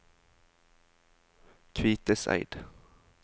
Kviteseid